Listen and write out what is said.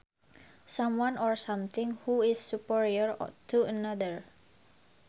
Someone or something who is superior to another